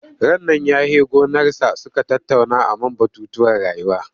Rannan ya he gonarsa suka tattauna a man batutuwan rayuwa.